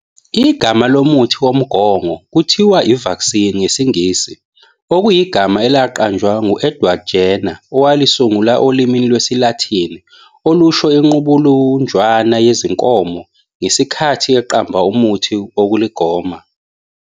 Igama lomuthi womgongo kuthiwa i-vaccine ngesiNgisi okuyigama elaqanjwa ngu-Edward Jenner owalisungula olimini lwesiLathini olusho inqubulunjwana yezinkomo ngesitkhathi eqamba umuthi wokuligoma.